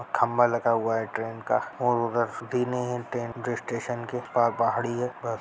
खम्बा लगा हुआ है ट्रेन का और उधर ट्रैन जो स्टेशन के पा पहाड़ी है।